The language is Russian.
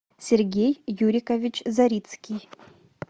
сергей юрикович зарицкий